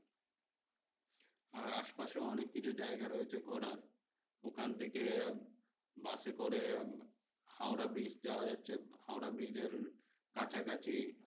আর আশপাশে অনেককিছু জায়গা রয়েছে ঘোরার। ওখান থেকে বাসে করে হাওড়া bridge যাওয়া যাচ্ছে। হাওড়া bridge কাছাকাছি